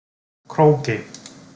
Króki